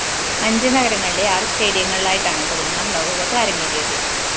അഞ്ച്‌ നഗരങ്ങളിലെ ആറ്‌ സ്റ്റേഡിയങ്ങളിലായിട്ടാണ്‌ പതിനൊന്നാം ലോകകപ്പ്‌ അരങ്ങേറിയത്‌